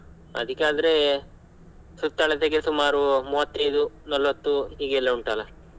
ಅದಿಕ್ಕಾದರೆ ಸುತ್ತಳತೆಗೆ ಸುಮಾರು ಮೂವತ್ತೈದು ನಲವತ್ತು ಈಗೆಲ್ಲ ಉಂಟಲ್ಲ?